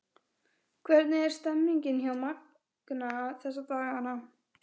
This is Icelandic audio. Hvernig er stemningin hjá Magna þessa dagana?